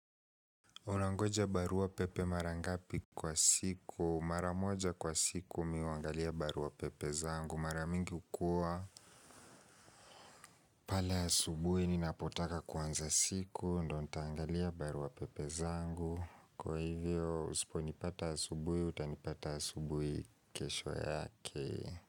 Unangoja barua pepe mara ngapi kwa siku?. Mara moja kwa siku mi huangalia barua pepe zangu. Mara mingi hukua. Pale asubuhi ninapotaka kuanza siku. Ndo nitaangalia barua pepe zangu. Kwa hivyo usipo nipata asubuhi utanipata asubuhi kesho yake.